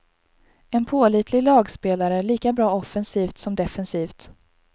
En pålitlig lagspelare, lika bra offensivt som defensivt.